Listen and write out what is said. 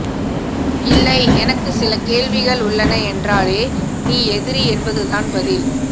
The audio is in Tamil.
இல்லை எனக்கு சில கேள்விகள் உள்ளன என்றாலே நீ எதிரி என்பதுதான் பதில்